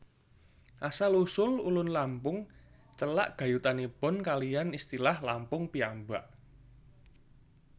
Asal usul Ulun Lampung celak gayutanipun kaliyan istilah Lampung piyambak